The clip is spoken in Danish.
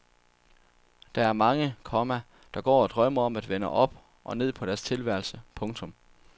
Der er mange, komma der går og drømmer om at vende op og ned på deres tilværelse. punktum